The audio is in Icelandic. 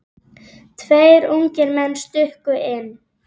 Tveir ungir menn stukku inn.